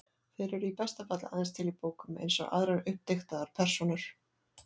Þeir eru í besta falli aðeins til í bókum, eins og aðrar uppdiktaðar persónur.